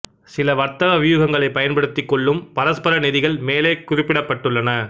சில வர்த்தக வியூகங்களைப் பயன்படுத்திக்கொள்ளும் பரஸ்பர நிதிகள் மேலே குறிப்பிடப்பட்டுள்ளன